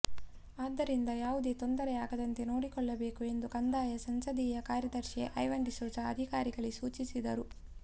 ಆದ್ದರಿಂದ ಯಾವುದೇ ತೊಂದರೆ ಆಗದಂತೆ ನೋಡಿಕೊಳ್ಳಬೇಕು ಎಂದು ಕಂದಾಯ ಸಂಸದೀಯ ಕಾರ್ಯದರ್ಶಿ ಐವನ್ ಡಿಸೋಜಾ ಅಧಿಕಾರಿಗಳಿಗೆ ಸೂಚಿಸಿದರು